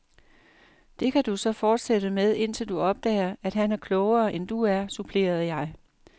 Det kan du så fortsætte med, til du opdager, at han er klogere, end du er, supplerede jeg.